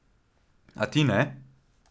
A ti ne?